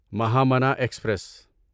Mahamana express